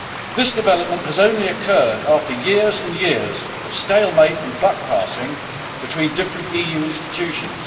This development has only occurred after years and years of stalemate and buck passing between different EU institutions.